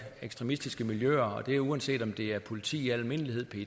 ekstremistiske miljøer og det er uanset om det er politi i al almindelighed